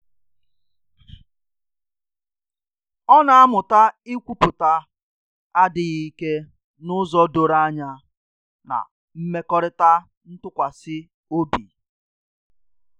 Ọ na-amụta ikwupụta adịghị ike n'ụzọ doro anya na mmekọrịta ntụkwasị obi